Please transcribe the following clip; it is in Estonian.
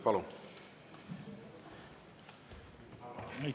Palun!